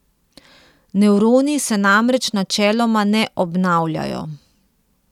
Nevroni se namreč načeloma ne obnavljajo.